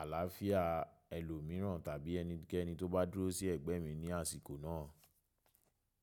àlàáfíà ẹlòmíràn tàbí ẹnikẹ́ni tó bá dúró sí ẹ̀gbẹ́ mi ní àsìkò náà.